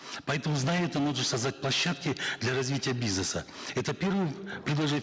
поэтому зная это можно создать площадки для развития бизнеса это первое